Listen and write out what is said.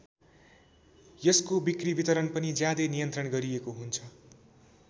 यसको बिक्री वितरण पनि ज्यादै नियन्त्रण गरिएको हुन्छ।